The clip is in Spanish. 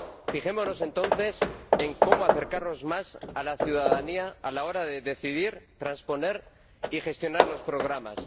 Fijémonos, entonces, en cómo acercarnos más a la ciudadanía a la hora de decidir transponer y gestionar los programas.